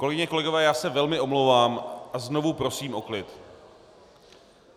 Kolegyně, kolegové, já se velmi omlouvám a znovu prosím o klid.